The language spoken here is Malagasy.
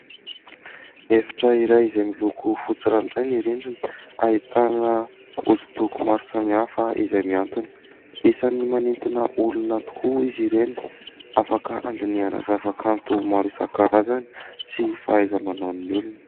Efitra iray izay miloko fotsy ranoray ny rindrina, ahitana hosodoko maro samihafa izay mihantona. Isany manintona olona tokoa izy ireny, afaka handinihana zavakanto maro isan-karazany sy fahaiza-manaon'ny olona.